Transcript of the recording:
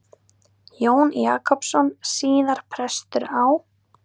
Jón Jakobsson, síðar prestur á